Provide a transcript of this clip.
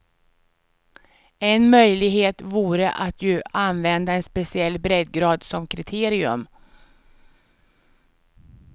En möjlighet vore att ju använda en speciell breddgrad som kriterium.